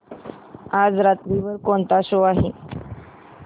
आज रात्री वर कोणता शो आहे